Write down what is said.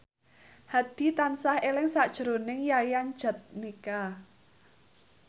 Hadi tansah eling sakjroning Yayan Jatnika